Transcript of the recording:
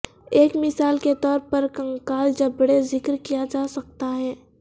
ایک مثال کے طور پر کنکال جبڑے ذکر کیا جا سکتا ہے